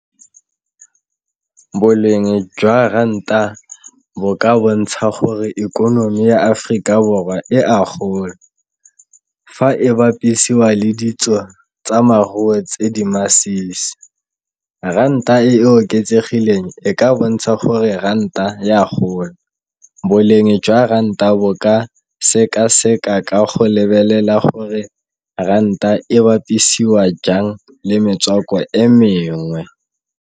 Boleng jwa ranta bo ka bontsha gore ikonomi ya Aforika Borwa e a gola, fa e bapisiwa le ditso tsa tse di masisi. Ranta e e oketsegileng e ka bontsha gore ranta ya gola, boleng jwa ranta bo ka sekaseka ka go lebelela gore ranta e bapisiwa jang le metswako e mengwe.